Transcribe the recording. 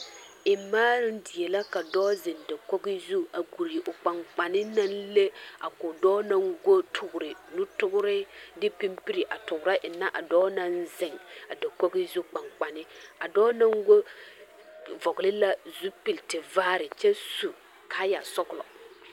Eŋmaaroŋ die la ka dɔɔ zeŋe dakogi zu a guri o kpankpanne naŋ le a ko dɔɔ naŋ go toore nutoore a de pimpiri a toora eŋnɛ a dɔɔ naŋ zeŋ a dakogi zu kpankpanne a dɔɔ naŋ go vɔgle la zupiltivaare kyɛ su kaayɛsɔglɔ.